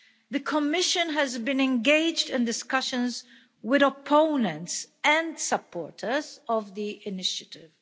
The Commission has been engaged in discussions with opponents and supporters of the initiative.